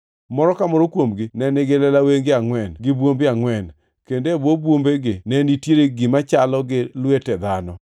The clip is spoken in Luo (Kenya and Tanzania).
Moro ka moro kuomgi ne nigi lela wenge angʼwen gi bwombe angʼwen, kendo e bwo bwombegi ne nitie gima chalo gi lwete dhano.